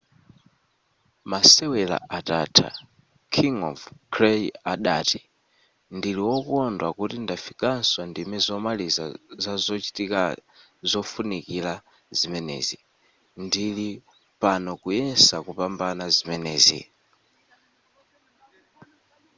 masewera atatha king of clay adati ndili wokondwa kuti ndafikaso ndime zomaliza zazochitika zofunikira zimenezi ndili pano kuyesa kupambana zimenezi